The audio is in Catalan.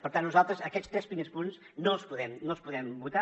per tant nosaltres aquests tres primers punts no els podem votar